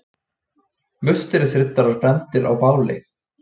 Musterisriddarar brenndir á báli.